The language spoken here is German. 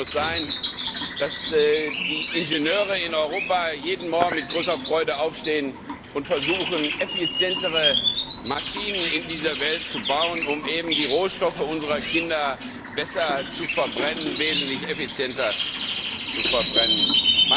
Unser Ziel muss sein, dass die Ingenieure in Europa jeden Morgen mit großer Freude aufstehen und versuchen, effizientere Maschinen in dieser Welt zu bauen, um die Rohstoffe unserer Kinder besser und wesentlich effizienter zu nutzen.